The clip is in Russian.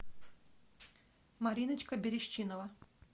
мариночка берещинова